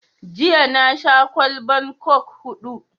Jiya na sha kwallban coke huɗu